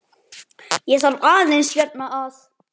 Ég þarf aðeins hérna að.